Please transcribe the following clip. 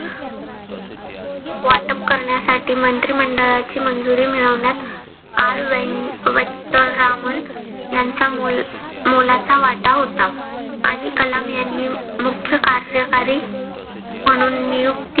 वाटप करण्यासाठी मंत्रिमंडळाची मंजुरी मिळवण्यात आर वेंकटरामन यांचा मोल मोलाचा वाटा होता. आणि कलाम यांनी मुख्यकार्यकारी म्हणून नियुक्ती